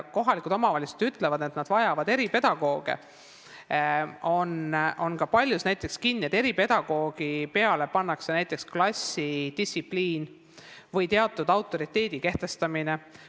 Kohalikud omavalitsused ütlevad, et nad vajavad eripedagooge, aga paljuski kasutatakse eripedagoogi näiteks klassis distsipliini tagamiseks või teatud autoriteedi kehtestamiseks.